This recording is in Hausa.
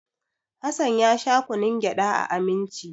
Hassan ya sha kunnun gyada a Aminci.